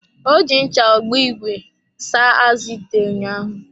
Ọ ji ncha ogbo ìgwè saa-azụ ite ụnyaahụ.